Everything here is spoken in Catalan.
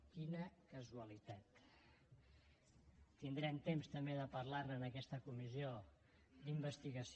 quina casualitat tindrem temps també de parlar ne en aquesta comissió d’investigació